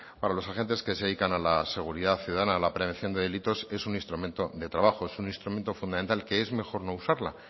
para los agentes que se dedican a la seguridad ciudadana a la prevención de delitos es un instrumento de trabajo es un instrumento fundamental que es mejor no usarla